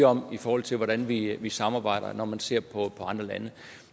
om i forhold til hvordan vi vi samarbejder når man ser på andre lande